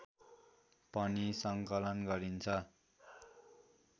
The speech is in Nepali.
पनि सङ्कलन गरिन्छ